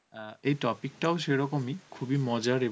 অ্যাঁ এই topic টাও সেরকম ই, খুব এ মজার